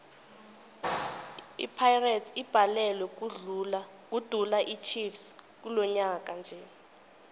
ipirates ibhalelwe kudula ichiefs kilonyaka nje